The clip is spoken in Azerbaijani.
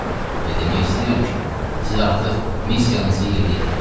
Və demək istəyirəm ki, siz artıq missiyanızı yerinə yetirmisiz.